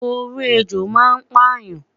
Oró ejò ma n payan